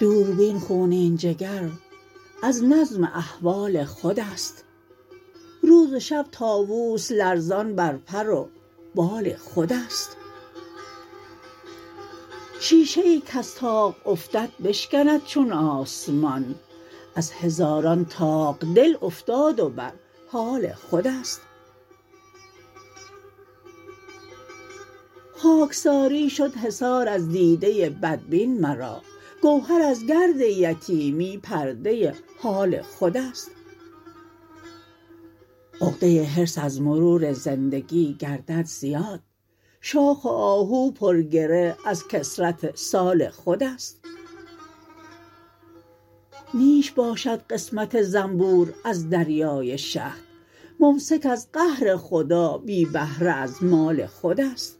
دوربین خونین جگر از نظم احوال خودست روز و شب طاوس لرزان بر پر و بال خودست شیشه ای کز طاق افتد بشکند چون آسمان از هزاران طاق دل افتاد و بر حال خودست خاکساری شد حصار از دیده بدبین مرا گوهر از گرد یتیمی پرده حال خودست عقده حرص از مرور زندگی گردد زیاد شاخ آهو پر گره از کثرت سال خودست نیش باشد قسمت زنبور از دریای شهد ممسک از قهر خدا بی بهره از مال خودست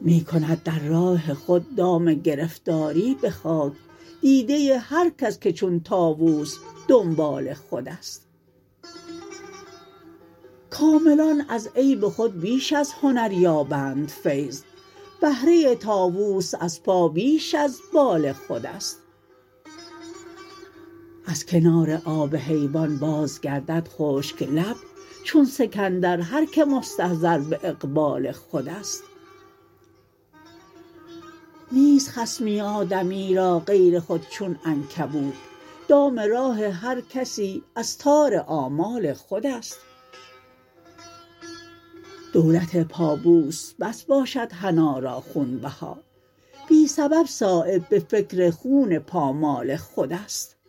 می کند در راه خود دام گرفتاری به خاک دیده هر کس که چون طاوس دنبال خودست کاملان از عیب خود بیش از هنر یابند فیض بهره طاوس از پا بیش از بال خودست از کنار آب حیوان باز گردد خشک لب چون سکندر هر که مستظهر به اقبال خودست نیست خصمی آدمی را غیر خود چون عنکبوت دام راه هر کسی از تار آمال خودست دولت پابوس بس باشد حنا را خونبها بی سبب صایب به فکر خون پامال خودست